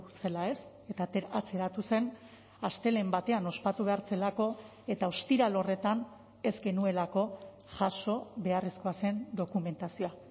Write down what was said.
zela ez eta atzeratu zen astelehen batean ospatu behar zelako eta ostiral horretan ez genuelako jaso beharrezkoa zen dokumentazioa